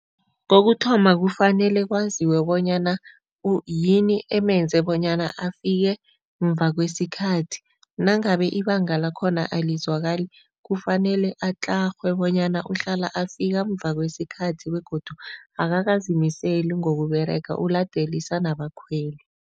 Kokuthoma, kufanele kwaziwe bonyana yini emenza bonyana afike mva kwesikhathi, nangabe ibanga lakhona alizwakali kufanele atlarhwe bonyana uhlala afika mva kwesikhathi begodu akakazimiseli ngokuberega, uladelisa nabakhweli.